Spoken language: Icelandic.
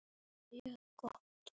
Þið verðið að hafa lægra.